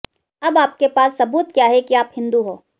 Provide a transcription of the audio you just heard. अब आपके पास सबूत क्या है कि आप हिंदू हो